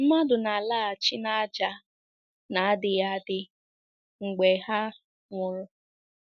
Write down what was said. Mmadụ na-alaghachi n’ájá — n’adịghị adị — mgbe ha nwụrụ.